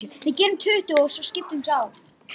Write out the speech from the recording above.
Því var hún upphaf-lega kölluð Grasbíturinn.